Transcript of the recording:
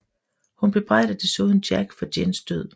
Hun bebrejder desuden Jack for Jins død